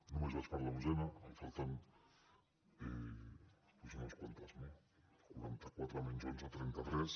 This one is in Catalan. només vaig per l’onzena me’n falten doncs unes quantes no quaranta·quatre menys onze trenta·tres